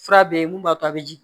Fura be yen mun b'a to a be jigin